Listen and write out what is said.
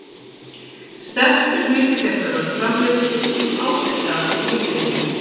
Stærstur hluti þessarar framleiðslu á sér stað í lifrinni.